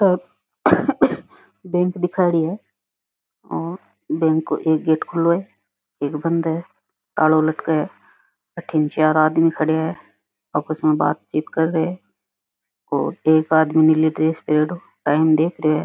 Bank दिखाऊड़ी है और बैंक का एक गेट खुलो है एक बंद है तालो लटके है अठिन चार आदमी खड़या है आपस में बातचीत कर रे है और एक आदमी नीली ड्रेस पहरयोडो टाइम देख रे है।